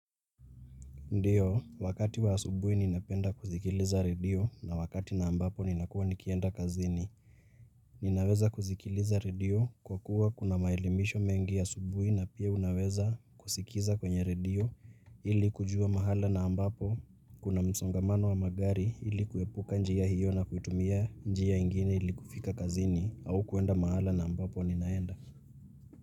Ndio, wakati wa asubuhi ninapenda kusikiliza redio na wakati na ambapo ninakuwa nikienda kazini. Ninaweza kusikiliza redio kwa kuwa kuna maelimisho mengi asubuhi na pia unaweza kusikiza kwenye redio ili kujua mahala na ambapo kuna msongamano wa magari ili kuepuka njia hiyo na kuitumia njia ingine ili kufika kazini au kuenda mahala na ambapo ninaenda.